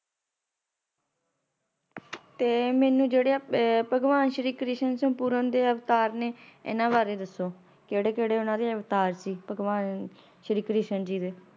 ਤੇ ਮੈਨੂੰ ਜੇੜੇ ਆ ਆਹ ਭਗਵਾਨ ਸ਼੍ਰੀ ਕ੍ਰਿਸ਼ਨ ਸੰਪੂਰਨ ਦੇ ਅਵਤਾਰ ਨੇ ਇੰਨਾ ਬਾਰੇ ਦੱਸੋ ਕੇੜੇ-ਕੇੜੇ ਉੰਨਾ ਦੇ ਅਵਤਾਰ ਸੀ? ਭਗਵਾਨ ਸ਼੍ਰੀ ਕ੍ਰਿਸ਼ਨ ਜੀ ਦੇ।